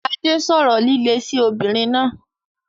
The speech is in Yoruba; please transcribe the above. Adé sọ̀rọ̀ líle sí obìnrin náà.